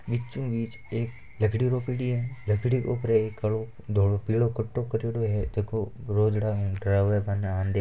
बीचो बीच एक लकड़ी रोपेडी है लकड़ी के उपर एक कालो धोलो पिलो कपड़ो करेडो है जको रोजडा ने डरावे काने --